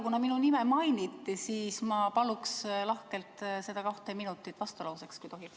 Kuna minu nime mainiti, siis ma paluks lahkelt seda kahte minutit vastulauseks, kui tohib.